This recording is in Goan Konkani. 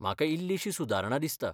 म्हाका इल्लीशी सुदारणा दिसता.